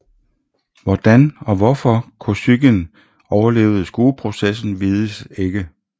Hvordan og hvorfor Kosygin overlevede skueprocessen vises ikke